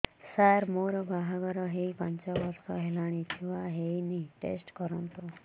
ସାର ମୋର ବାହାଘର ହେଇ ପାଞ୍ଚ ବର୍ଷ ହେଲାନି ଛୁଆ ହେଇନି ଟେଷ୍ଟ କରନ୍ତୁ